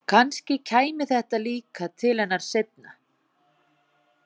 Kannski kæmi þetta líka til hennar seinna.